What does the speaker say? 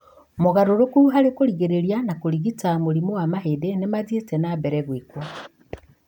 Mogarũrũku harĩ kũrigĩrĩria na kũrigita mũrimũ wa mahĩndĩ nĩmathiĩte na mbere gwĩkwo